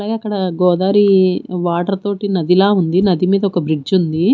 అలాగే అక్కడ గోదారి వాటర్ తోటి నదిలా ఉంది నది మీద ఒక బ్రిడ్జ్ ఉంది.